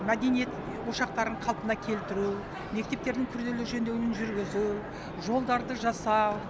мәдениет ошақтарын қалпына келтіру мектептердің күрделі жөндеуін жүргізу жолдарды жасау